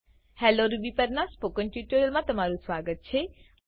hello Rubyપર ના spoken ટ્યુટોરીયલમા તમારુ સ્વાગત છે